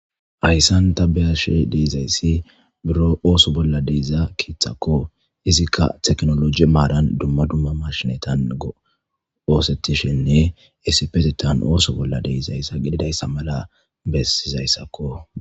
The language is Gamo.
ayssan ta beyashi deizayssi biro ooso bolla deiza kiithakko izikka teknoloji maaran dumma dumma mashinetan oosetishinne issipetetan ooso bolla deizayssa gididayssa mala bessizayssakko